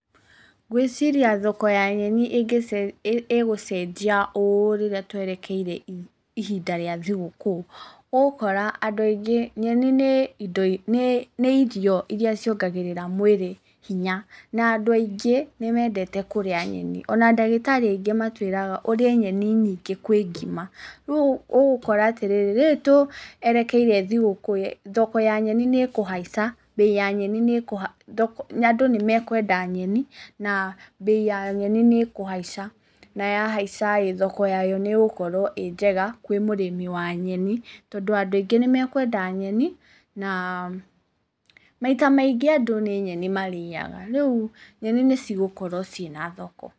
Ngwĩciria thoko ya nyeni igũcenjia ũũ rĩrĩa twerekeire ihinda rĩa thigũkũ, ũgũkora andũ aingĩ nyeni nĩ irio iria ciongagĩrĩra mwĩrĩ hinya, na andũ aingĩ nĩ mendete kũrĩa nyeni, ona ndagĩtarĩ aingĩ matwĩraga ũrĩe nyeni nyingĩ kwĩ ngima, rĩu ũgũkora atĩrĩrĩ, rĩrĩ tũerekeire thigũkũ thoko ya nyeni nĩ ĩkũhaica, andũ nĩ mekũenda nyeni, na mbei ya nyeni nĩ ĩkũhaica, na yahaicaĩ thoko yayo nĩ ĩgukorwo ĩ njega kwĩ mũrĩmi wa nyeni na andũ aingĩ nĩ me kwenda nyeni ,na maita maingĩ andũ nĩ nyeni mariagaga, rĩu nyeni nĩ cigũkorwo ciĩna thoko.